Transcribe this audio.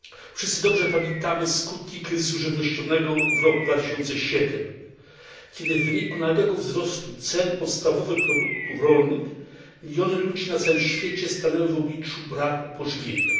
Wszyscy dobrze pamiętamy skutki kryzysu żywnościowego w roku 2007, kiedy w wyniku nagłego wzrostu cen podstawowych produktów rolnych miliony ludzi na całym świecie stanęły w obliczu braku pożywienia.